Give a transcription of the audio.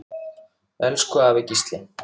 Elsku afi Gísli.